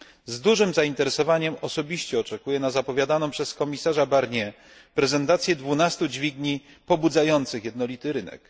Z dużym zainteresowaniem osobiście oczekuję na zapowiadaną przez komisarza Barniera prezentację 12 dźwigni pobudzających jednolity rynek.